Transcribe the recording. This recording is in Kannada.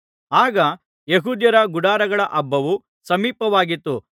ಆಗ ಯೆಹೂದ್ಯರ ಗುಡಾರಗಳ ಹಬ್ಬವು ಸಮೀಪವಾಗಿತ್ತು